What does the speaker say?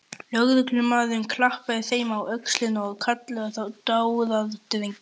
Lögreglumaðurinn klappaði þeim á öxlina og kallaði þá dáðadrengi.